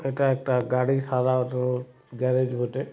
এটা একটা গাড়ি সারানোর গ্যারেজ বটে।